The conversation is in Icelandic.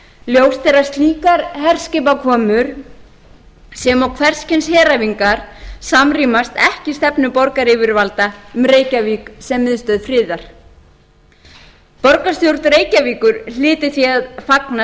ljóst er slíkar herskipakomur sem og hvers kyns heræfingar samrýmast ekki stefnu borgaryfirvalda um reykjavík sem miðstöð friðar borgarstjórn reykjavíkur hlýtur því að fagna